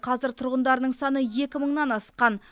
қазір тұрғындарының саны екі мыңнан асқан